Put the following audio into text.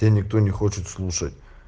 тебя не кто не хочет слушать